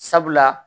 Sabula